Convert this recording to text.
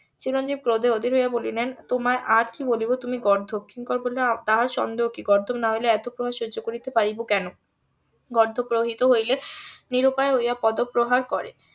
চিরঞ্জিব ক্রোধে অধীর হইয়া বলিলেন তোমায় আর কি বলিব তুমি গর্ধব কিঙ্কর বলিল তাহা সন্দেহ কি গর্ধব না হইলে এত প্রহার সহ্য করিতে পারিব কেন গর্ধব রোহিত হইলে নিরুপায় হইয়া পদপ্রহার করে